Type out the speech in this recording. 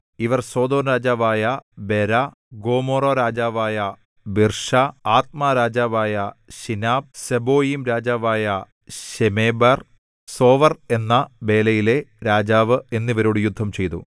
ഇവർ സൊദോംരാജാവായ ബേരാ ഗൊമോറാരാജാവായ ബിർശാ ആദ്മാരാജാവായ ശിനാബ് സെബോയീംരാജാവായ ശെമേബെർ സോവർ എന്ന ബേലയിലെ രാജാവ് എന്നിവരോട് യുദ്ധംചെയ്തു